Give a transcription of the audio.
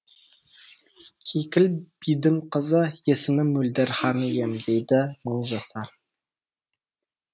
кейкіл бидің қызы есімі мөлдір хан ием дейді мыңжасар